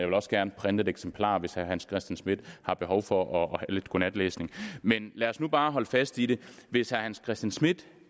vil også gerne printe et eksemplar hvis herre hans christian schmidt har behov for lidt godnatlæsning men lad os nu bare holde fast i det hvis herre hans christian schmidt